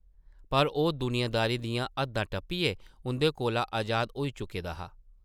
पर ओह् दुनियादारी दियां हद्दां टप्पियै उंʼदे कोला अजाद होई चुके दा हा ।